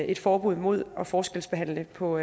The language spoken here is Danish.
et forbud mod at forskelsbehandle på